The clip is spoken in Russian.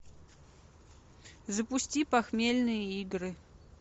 запусти похмельные игры